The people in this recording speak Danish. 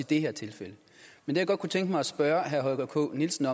det her tilfælde men jeg kunne godt tænke mig at spørge herre holger k nielsen